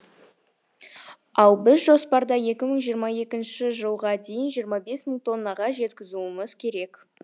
ал біз жоспарда екі мың жиырма екінші ылға дейін жиырма бес мың тоннаға жеткізуіміз керек